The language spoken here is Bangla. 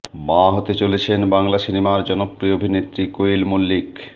মা হতে চলেছেন বাংলা সিনেমার জনপ্রিয় অভিনেত্রী কোয়েল মল্লিক